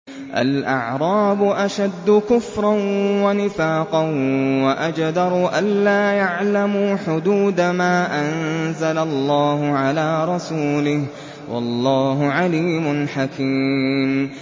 الْأَعْرَابُ أَشَدُّ كُفْرًا وَنِفَاقًا وَأَجْدَرُ أَلَّا يَعْلَمُوا حُدُودَ مَا أَنزَلَ اللَّهُ عَلَىٰ رَسُولِهِ ۗ وَاللَّهُ عَلِيمٌ حَكِيمٌ